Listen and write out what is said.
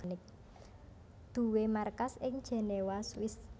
duwé markas ing Jenewa Swiss